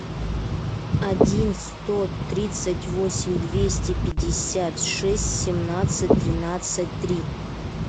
один сто тридцать восемь двести пятьдесят шесть семнадцать тринадцать три